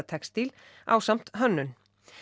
textíl ásamt hönnun